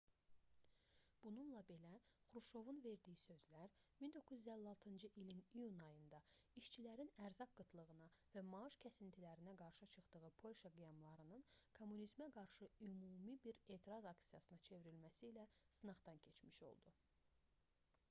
bununla belə xruşovun verdiyi sözlər 1956-cı ilin iyun ayında işçilərin ərzaq qıtlığına və maaş kəsintilərinə qarşı çıxdığı polşa qiyamlarının kommunizmə qarşı ümumi bir etiraz aksiyasına çevrilməsi ilə sınaqdan keçmiş oldu